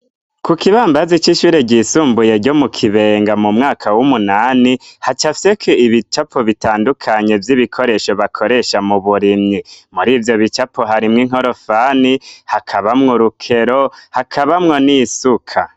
Ku kibambazi c'ishure ryisumbuye ryo mu kibenga mu mwaka w'umunani, hacafyeko ibicapo bitandukanye vy'ibikoresho bakoresha mu burimyi muri ibyo bicapo hari mw inkorofani hakabamwe urukero hakabamwo n'isuka.